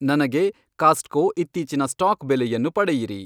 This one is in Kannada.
ನನಗೆ ಕಾಸ್ಟ್ಕೊ ಇತ್ತೀಚಿನ ಸ್ಟಾಕ್ ಬೆಲೆಯನ್ನು ಪಡೆಯಿರಿ